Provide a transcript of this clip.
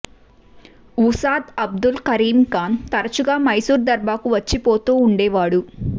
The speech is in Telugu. ఉసాద్ అబ్దుల్ కరీం ఖాన్ తరచుగా మైసూర్ దర్బారుకు వచ్చిపోతూ ఉండేవాడు